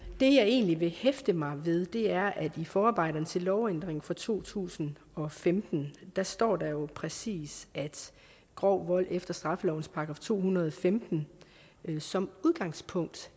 jeg egentlig vil hæfte mig ved er at i forarbejderne til lovændringen fra to tusind og femten står det jo præcis at grov vold efter straffelovens § to hundrede og femten som udgangspunkt